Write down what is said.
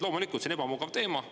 Loomulikult on see ebamugav teema.